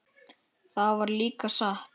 Það var líka satt.